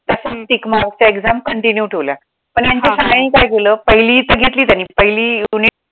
Tickmark च्या exam continue ठेवल्या पण ह्यांच्या शाळाने काय केलं, पहिली इथं घेतली त्यांनी पहिली unit